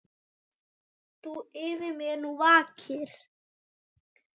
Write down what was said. Þú yfir mér nú vakir.